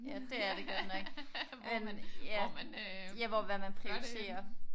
Ja det er det godt nok. Ja ja hvor hvad man prioriterer